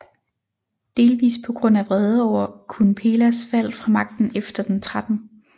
Delvist på grund af vrede over Kunphelas fald fra magten efter den 13